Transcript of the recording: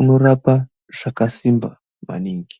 unorapa zvakasimba maningi.